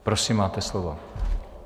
Prosím máte slovo.